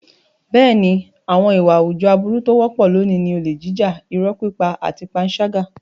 Bẹ́ẹ̀ni, àwọn ìwà àwùjọ aburú tó wọ́pọ̀ lónìí ni olè jíjà, irọ́ pípa àti panṣágà.